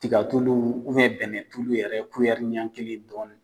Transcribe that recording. Tigatulu bɛnɛtulu yɛrɛ ɲɛ kelen ni dɔɔni.